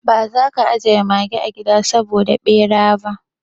Ba za ka ajiye mage a gida saboda bera ba?